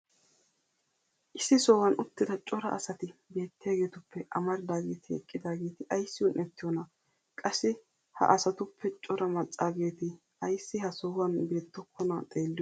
issi sohuwan uttida cora asati beettiyaageetuppe amariodaageeti eqqidaageeti ayssi un'ettiyoonaa? qassi ha asatuppe cora macaageeti ayssi ha sohuwan beettokkonaa xeeliyoode?